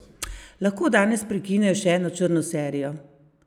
Lahko danes prekinejo še eno črno serijo?